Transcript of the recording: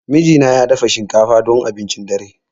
Mijina ya dafa shinkafa don abincin dare.